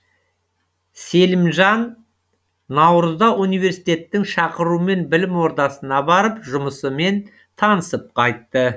селимжан наурызда университеттің шақыруымен білім ордасына барып жұмысымен танысып қайтты